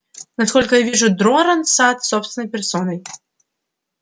насколько я вижу джоран сатт собственной персоной